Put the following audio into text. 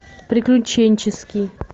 приключенческий